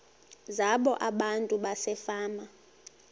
zabo abantu basefama